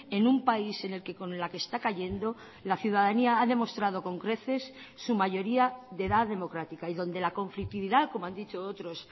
en un país en el que con la que está cayendo la ciudadanía ha demostrado con creces su mayoría de edad democrática y donde la conflictividad como han dicho otros